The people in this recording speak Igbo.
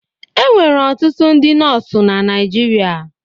E nwere ọtụtụ ndị nọọsụ na Naịjirịa.